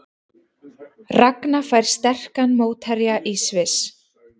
Ragna fær sterkan mótherja í Sviss